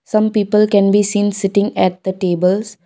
some people can be seen sitting at the tables.